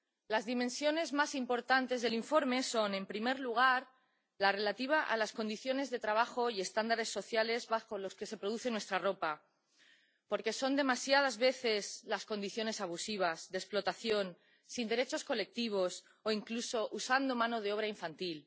Las dimensiones más importantes del informe son, en primer lugar, la relativa a las condiciones de trabajo y estándares sociales bajo los que se producen nuestra ropa, porque son demasiadas veces condiciones abusivas, de explotación, sin derechos colectivos o incluso usando mano de obra infantil.